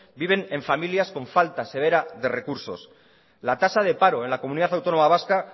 viven en familias con falta severa de recursos la tasa de paro en la comunidad autónoma vasca